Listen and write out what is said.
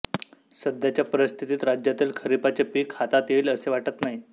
सध्याच्या परिस्थितीत राज्यातील खरिपाचे पीक हातात येईल असे वाटत नाही